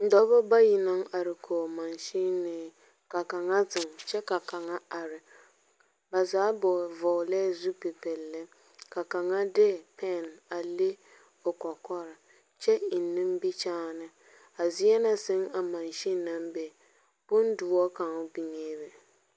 Dͻbͻ bayi naŋ are kͻge mansinee, ka kaŋa zeŋe kyԑ ka kaŋa are. ba zaa gboo vͻgelԑԑ zupili pelle. Ka kaŋa de pԑne a le o kͻkͻre kyԑ eŋ nimbikyaane. A zie na sԑŋ a mansin naŋ be bondõͻ kaŋ biŋee be.